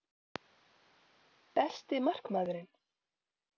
Besti markmaðurinn?